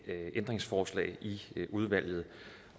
ændringsforslag i udvalget